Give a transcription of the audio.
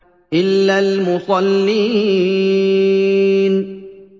إِلَّا الْمُصَلِّينَ